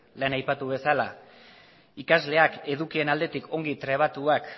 lehen aipatu bezala ikasleak edukien aldetik ongi trebatuak